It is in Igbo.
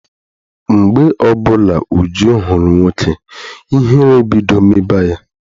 Mgbe ọbụla Uju hụrụ nwoke, ihere ebido mebe ya.